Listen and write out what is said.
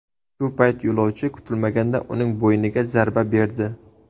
Shu payt yo‘lovchi kutilmaganda uning bo‘yniga zarba berdi.